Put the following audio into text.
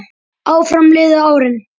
Áfram liðu árin.